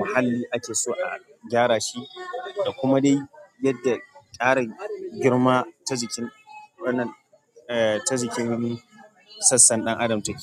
mahalli ake so a gyara shi da kuma dai yadda tsarin girma ta jikin wannan, eh, ta jikin sassan ɗan adam take.